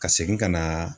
Ka segin ka na